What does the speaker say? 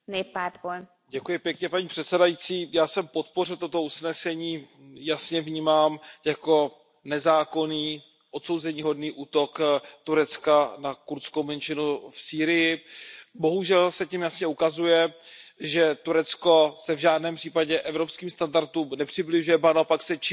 Paní předsedající, já jsem podpořil toto usnesení, jasně vnímám jako nezákonný, odsouzeníhodný útok Turecka na kurdskou menšinu v Sýrii. Bohužel se tím jasně ukazuje, že Turecko se v žádném případě evropským standardům nepřibližuje, ba naopak se čím dál tím více vzdaluje.